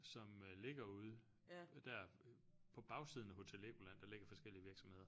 Som ligger ude der på bagsiden af Hotel Legoland der ligger forskellige virksomheder